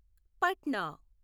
Patna